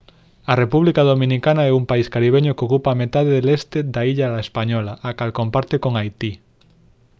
a república dominicana é un país caribeño que ocupa a metade leste da illa la española a cal comparte con haití